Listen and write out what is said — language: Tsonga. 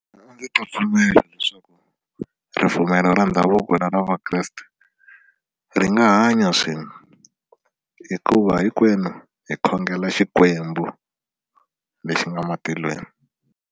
ta pfumela leswaku ripfumelo ra ndhavuko na ra vakreste ri nga hanya swin'we hikuva hinkwenu hi khongela xikwembu lexi nga matilweni.